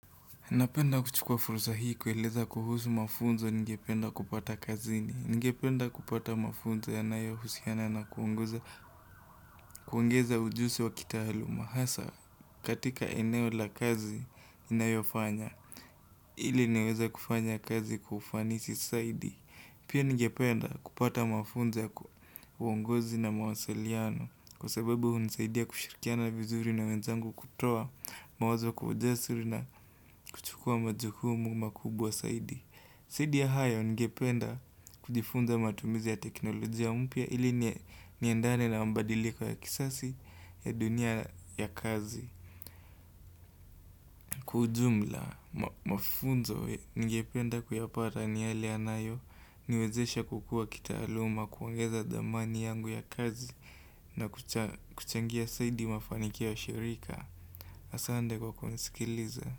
Napenda kuchukua fursa hii kueleza kuhusu mafunzo ningependa kupata kazini. Ningependa kupata mafunzo yanayohusiana na kuongeza ujusi wa kitaaluma hasa katika eneo la kazi inayofanya. Ili niweze kufanya kazi kwa ufanisi saidi. Pia ningependa kupata mafunzo ya kuongozi na mawasiliano. Kwa sababu hunisaidia kushirikiana vizuri na wenzangu kutoa mawazo kwa ujasiri na kuchukua majukumu makubwa saidi. Saidi ya hayo ningependa kujifunza matumizi ya teknolojia mpya ili niendane na mbadiliko ya kisasi ya dunia ya kazi Kwa ujumla mafunzo ningependa kuyapata ni yale yanayoniwezesha kukua kitaaluma kuongeza dhamani yangu ya kazi na kuchengia saidi mafanikio ya shirika Asande kwa kunisikiliza.